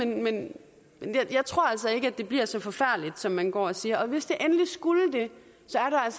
men jeg tror altså ikke at det bliver så forfærdeligt som man går og siger og hvis det endelig skulle det